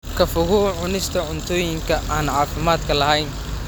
Ka fogow cunista cuntooyinka aan caafimaadka lahayn.